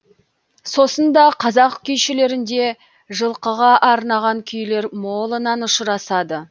сосын да қазақ күйшілерінде жылқыға арнаған күйлер молынан ұшырасады